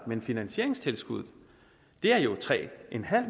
men finansieringstilskuddet er jo tre